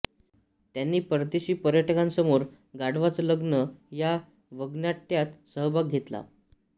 त्यांनी परदेशी पर्यटकांसमोर गाढवाचं लग्न या वगनाट्यात सहभाग घेतला